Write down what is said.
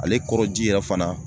Ale kɔrɔ ji yɛrɛ fana